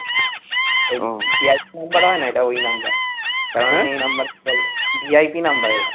ওই VIP number হয়না এটা ওই কারণ এই number এ call হয় VIP number এটা